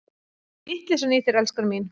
Vitleysan í þér, elskan mín!